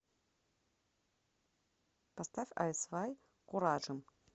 поставь ай свай куражим